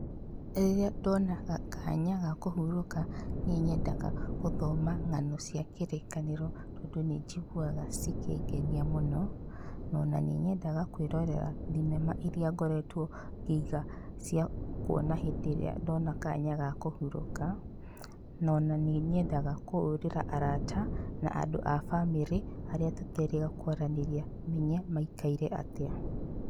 Rĩria ndona kanya ga kũhurũka nĩnyendaga gũthoma ng'ano cia kĩrĩkanĩro, tondũ nĩnjiguaga cikĩngenia mũno ona nĩnyendaga kwĩrorera thinema iria ngoretwo ngĩiga cia kuona hĩndĩ ĩrĩa kwĩna kanya ga kũhurũka, ona nĩnyendaga kũhũrĩra arata, andũ a bamĩrĩ arĩa tũterĩga kwaranĩria ngamenya maikaire atia.